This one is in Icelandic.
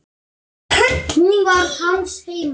Hún var hans heima.